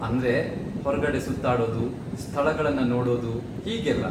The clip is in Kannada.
ಅಂದ್ರೆ, ಹೊರ್ಗಡೆ ಸುತ್ತಾಡೋದು, ಸ್ಥಳಗಳನ್ನ ನೋಡೋದು ಹೀಗೆಲ್ಲ.